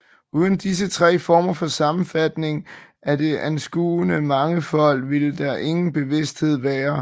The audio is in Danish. Uden disse tre former for sammenfatning af det anskuede mangefold ville der ingen bevidsthed være